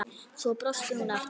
Svo brosti hún aftur.